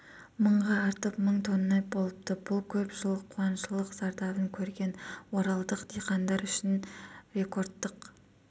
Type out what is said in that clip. мыңға артып мың тонна болыпты бұл көп жыл қуаңшылық зардабын көрген оралдық диқандар үшін рекордтық